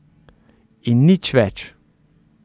In nič več...